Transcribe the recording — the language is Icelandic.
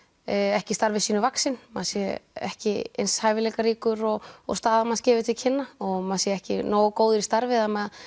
ekki starfi sínu vaxin maður sé ekki eins hæfileikaríkur og og staða manns gefur til kynna og maður sé ekki nógu góður í starfi að maður